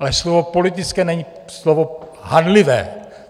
Ale slovo "politické" není slovo hanlivé.